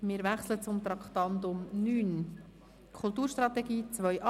Wir wechseln zum Traktandum 9: «Kulturstrategie 2018».